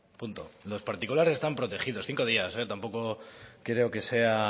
punto los particulares están protegidos cinco días tampoco creo que sea